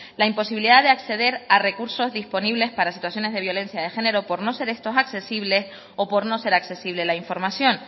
la imposibilidad de acceder a recursos disponibles para situaciones de violencia de género por no ser estos accesibles o por no ser accesible la información